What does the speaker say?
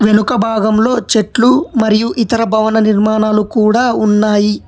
వెనుక భాగంలో చెట్లు మరియు ఇతర భవన నిర్మాణాలు కూడా ఉన్నాయి.